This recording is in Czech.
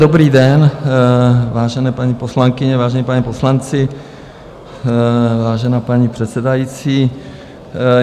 Dobrý den, vážené paní poslankyně, vážení páni poslanci, vážená paní předsedající.